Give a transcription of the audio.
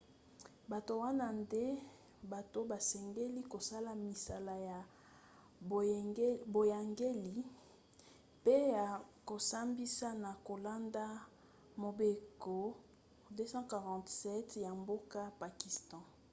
bato wana nde bato basengeli kosala misala ya boyangeli pe ya kosambisa na kolanda mobeko 247 ya mboka pakistan